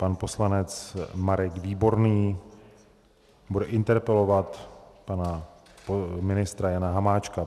Pan poslanec Marek Výborný bude interpelovat pana ministra Jana Hamáčka.